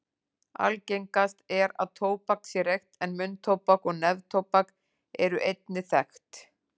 Algengast er að tóbak sé reykt en munntóbak og neftóbak eru einnig þekkt.